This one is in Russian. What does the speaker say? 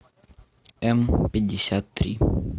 эмпятьдесяттри